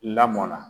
Lamɔn na